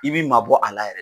I b'i maa bɔ a la yɛrɛ.